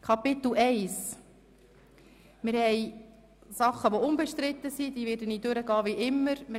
Wie immer werde ich jene Artikel, welche unbestritten sind, rasch durchgehen.